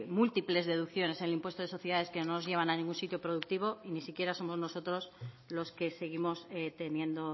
múltiples deducciones en el impuesto de sociedades que no nos llevan a ningún sitio productivo y ni siquiera somos nosotros los que seguimos teniendo